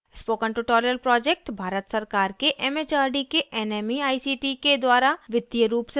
spoken tutorial project Bharat सरकार के M H R D के nmeict के द्वारा वित्तीय रूप से समर्थित है